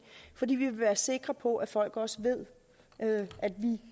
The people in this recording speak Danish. fordi vi vil være sikre på at folk også ved at vi